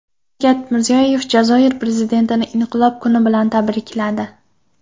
Shavkat Mirziyoyev Jazoir prezidentini Inqilob kuni bilan tabrikladi.